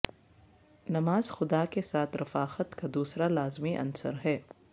نماز خدا کے ساتھ رفاقت کا دوسرا لازمی عنصر ہے